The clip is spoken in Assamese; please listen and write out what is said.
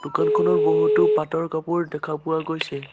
কান খনত বহুতো পাটৰ কাপোৰ দেখা পোৱা গৈছে।